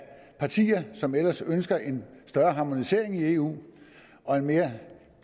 partier som ellers ønsker en større harmonisering i eu og mere